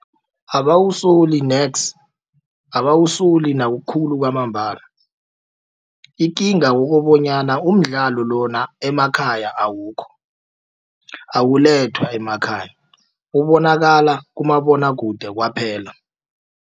Abakusoli nex abakusoli nakukhulu kwamambala. Ikinga kukobonyana umdlalo lona emakhaya awukho awulethwa emakhaya ubonakala kumabonwakude kwaphela.